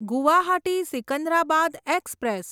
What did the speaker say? Guwahati Secunderabad express